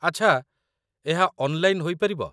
ଆଚ୍ଛା, ଏହା ଅନ୍‌ଲାଇନ୍‌ ହେଇ ପାରିବ ?